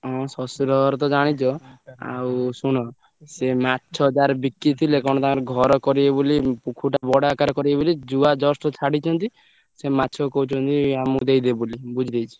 ହଁ ଶଶୁର ଘର ତ ଜାଣିଛ ଆଉ ଶୁଣ ସିଏ ମାଛ ତାର ବିକି ଥିଲେ କଣ ତାର ଘର କରିବେ ବୋଲି ବଡ ଆକାରେ କରିବେ ବୋଲି ଜୁଆ just ଛାଡିଛନ୍ତି ସେ ମାଛକୁ କହୁଛନ୍ତି ଆମକୁ ଦେଇଦେବେ ବୋଲି ।